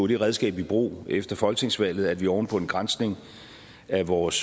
det redskab i brug efter folketingsvalget at vi oven på en granskning af vores